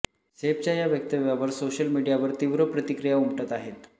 सैफच्या या वक्तव्यावर सोशल मीडियावर तीव्र प्रतिक्रिया उमटत आहेत